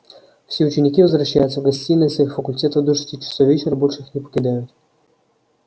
все ученики возвращаются в гостиные своих факультетов до шести часов вечера и больше их не покидают